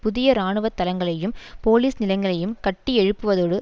புதிய இராணுவ தளங்களையும் போலிஸ் நிலையங்களையும் கட்டியெழுப்புவதோடு